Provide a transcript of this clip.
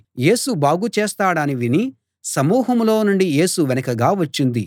యేసు బాగు చేస్తాడని విని సమూహంలో నుండి యేసు వెనుకగా వచ్చింది